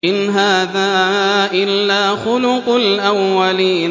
إِنْ هَٰذَا إِلَّا خُلُقُ الْأَوَّلِينَ